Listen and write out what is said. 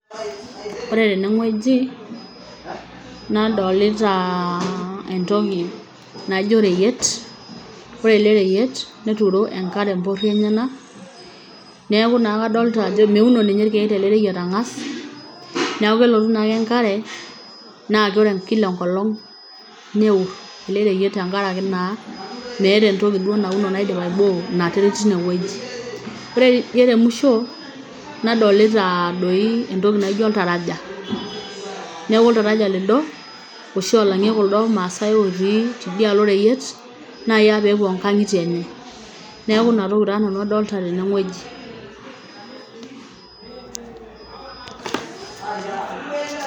Ore tene wueji, nadolitaa entoki naijo oreyiet. Ore ele reyiet netuuro enkare empoori enyak, neeku naa kadolita ajo meuno ilkeek tele reyiet ang, as, neeku kelotu naake enkare naa kila enkolong' neur neeku naa metii entoki nauni naidimi aiboo in terit teine wueji, ore tidie temusho nadolita doi entoki naijo oltaraja. Neeku oltaraja lido oshi olang'ie kuldo maasai otii teidialo oreyiet naa peepuo onkang' itie enye. Neeku naa inatoki adolita nanu tene oji.